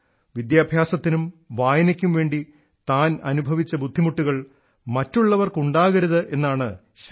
വിദ്യാഭ്യാസത്തിനും വായനക്കുംവേണ്ടി താനനുഭവിച്ച ബുദ്ധിമുട്ടുകൾ മറ്റുള്ളവർക്ക് ഉണ്ടാകരുത് എന്നാണ് ശ്രീ